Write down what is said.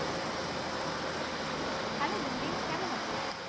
Hello Munni কেমন আছো?